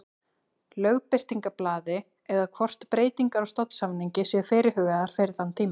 Lögbirtingablaði eða hvort breytingar á stofnsamningi séu fyrirhugaðar fyrir þann tíma.